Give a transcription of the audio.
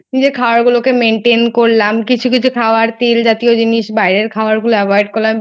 খাবার গুলোকে Maintain করলাম কিছু কিছু খাবার তেল জাতীয় জিনিস বাইরের খাবারগুলো Avoid করলাম